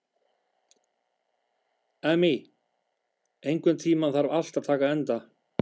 Amy, einhvern tímann þarf allt að taka enda.